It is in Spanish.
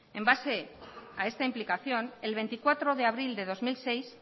en base a esta implicación el veinticuatro de abril de dos mil seis